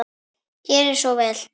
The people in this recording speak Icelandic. Gerið svo vel.